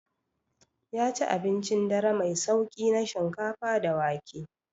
Ya ci abincin dare mai sauƙi na shinkafa da wake.